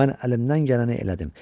Mən əlimdən gələni elədim.